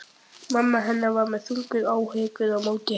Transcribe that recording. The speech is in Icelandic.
Mamma hennar með þungar áhyggjur á móti henni.